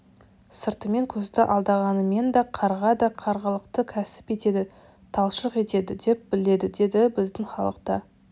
сыртымен көзді алдағанымен да қарға да қарғалықты кәсіп етеді талшық етеді деп біледі деді біздің халықта